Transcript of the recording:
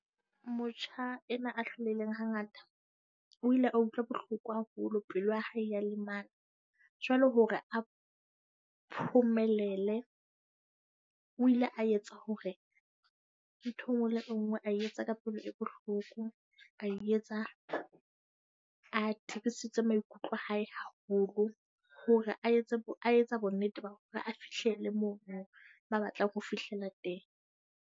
Motjha ena a hlolehileng hangata o ile wa utlwa bohloko haholo pelo ya hae ya lemala. Jwale hore a phomelele, o ile a etsa hore ntho e nngwe le nngwe a etsa ka pelo e bohloko. A e etsa a a tibisitse maikutlo a hae haholo hore a etse a etsa bonnete ba hore a fihlele mono ma batlang ho fihlela teng.